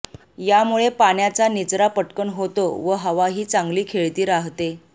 यामुळे पाण्याचा निचरा पटकन होतो व हवाही चांगली खेळती राहते